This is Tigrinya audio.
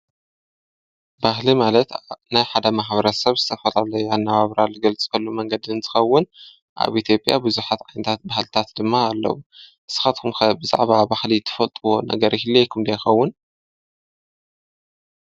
ባህሊ ማለት ናይ ሓደ ማሕብረት ሰብ ዝተፈላለዩ ኣነባብራ ዝገልጽሉ መንገዲ እንትኸውን ኣብቲ ኢትዮጵያ ብዙኃት ዓይነታት ባህልታት ድማ ኣለዉ። ንስኻትኩም ብዛዕባ ባህሊ ትፈልጥዎ ነገር ይህልዎኩም ዶ ይኸውን?